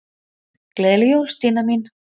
Gleðileg jól, Stína mín.